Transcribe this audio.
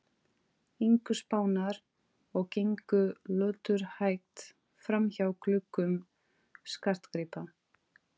ingu Spánar og gengu löturhægt framhjá gluggum skartgripa